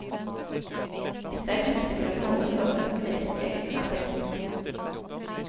Dette er viktig for å beholde sortenes genetiske egenskaper.